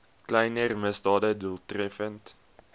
kleiner misdade doeltreffend